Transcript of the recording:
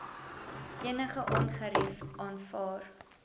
enige ongerief aanvaar